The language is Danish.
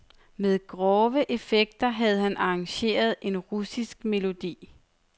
Med grove effekter havde han arrangeret en russisk melodi.